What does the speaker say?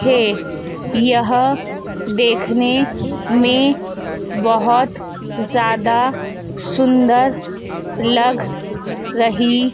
है यह देखने में बहुत ज्यादा सुंदर लग रही--